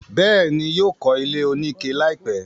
bẹ́ẹ̀ni, yóò kọ́ ilé oníke láìpẹ́.